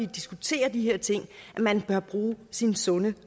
diskuterer de her ting at man bør bruge sin sunde